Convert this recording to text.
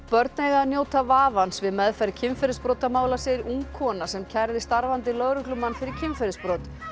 börn eiga að njóta vafans við meðferð kynferðisbrotamála segir ung kona sem kærði starfandi lögreglumann fyrir kynferðisbrot